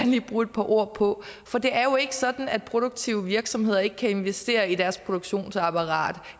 lige bruge et par ord på for det er jo ikke sådan at produktive virksomheder ikke kan investere i deres produktionsapparat